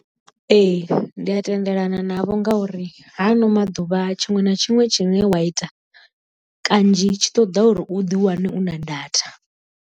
Ee ndi a tendelana navho ngauri ha ano maḓuvha tshiṅwe na tshiṅwe tshine wa ita kanzhi tshi ṱoda uri u ḓiwane u na data.